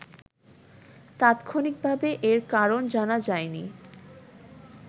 তাৎক্ষণিকভাবে এর কারণ জানা যায়নি